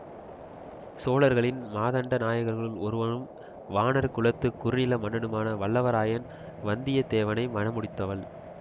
சோழர்களின் மாதண்ட நாயக்கர்களுள் ஒருவரும் வாணர் குலத்து குறுநில மன்னனுமான வல்லவரையன் வந்தியத்தேவனை மணமுடித்தவள்